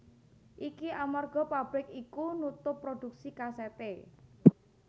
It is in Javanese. Iki amarga pabrik iku nutup prodhuksi kasèté